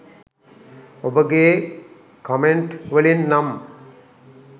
ඔබගේ කමෙන්ට් වලින් නම්